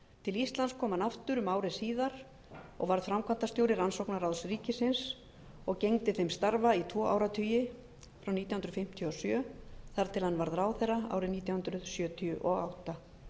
til íslands kom hann aftur um ári síðar og varð framkvæmdastjóri rannsóknaráðs ríkisins og gegndi þeim starfa í tvo áratugi frá nítján hundruð fimmtíu og sjö þar til hann varð ráðherra árið nítján hundruð sjötíu og átta